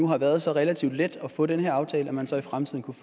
har været så relativt let at få den her aftale at man så i fremtiden kunne